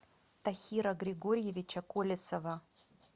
тохира григорьевича колесова